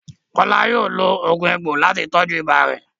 Kola yóò lo oogun egbo lati tọju ibà rẹ.